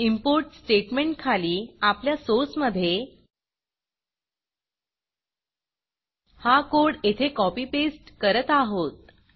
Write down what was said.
importइम्पोर्ट स्टेटमेंटखाली आपल्या सोर्समधे हा कोड येथे कॉपी पेस्ट करत आहोत